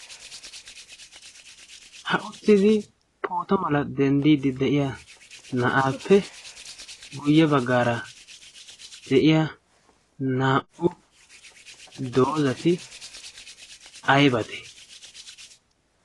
ha uttidi poota mala denddiiddi de'iya na'aappe guyye baggaara de'iya naa'u doozati aybate?